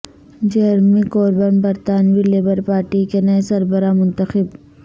Jeremy Corbyn برطانوی Labour Party کے نئے سربراہ منتخب